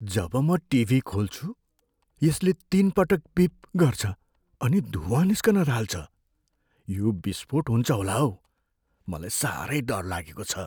जब म टिभी खोल्छु, यसले तिनपटक बिप गर्छ अनि धुवाँ निस्कन थाल्छ। यो विस्फोट हुन्छ होला हौ। मलाई साह्रै डर लागेको छ।